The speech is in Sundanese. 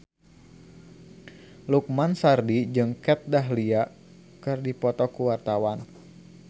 Lukman Sardi jeung Kat Dahlia keur dipoto ku wartawan